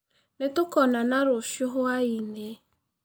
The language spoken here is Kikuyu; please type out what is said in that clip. Nĩtũkonana rũcĩũ hwainĩ.